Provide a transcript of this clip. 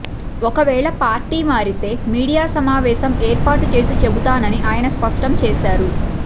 ఒకవేళ పార్టీ మారితే మీడియా సమావేశం ఏర్పాటు చేసి చెబుతానని ఆయన స్పష్టం చేశారు